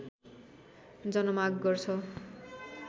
जन माग गर्छ